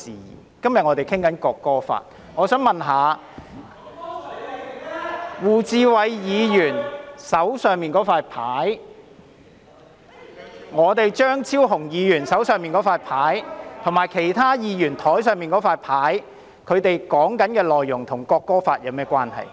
我們今天討論的是《國歌條例草案》，我想請問一下，胡志偉議員手上的紙牌、張超雄議員手上的紙牌，以及其他議員桌上的紙牌，內容與《國歌條例草案》有何關係？